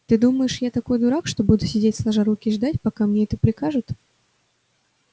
ты думаешь я такой дурак что буду сидеть сложа руки и ждать пока это мне прикажут